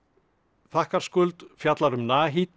þakkarskuld fjallar um